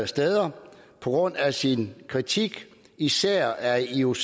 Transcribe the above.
steder på grund af sin kritik især af ioc